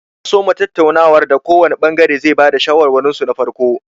An soma tattaunawar da kowanr ɓangare ya ba da shawarwarinsu na farko.